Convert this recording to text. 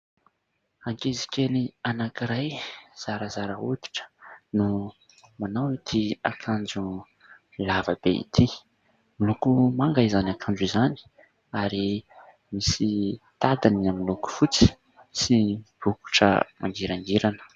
ankizikely anankiray zarazara hoditra no manao ity akanjo lavabe ity miloko manga izany akanjo izany ary misy tady miloko fotsy sy bokotra mangirangirana